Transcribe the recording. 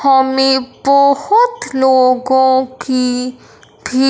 हमें बहोत लोगों की भी--